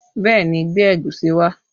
Bẹẹ ni, gbé ẹ̀gúsí wá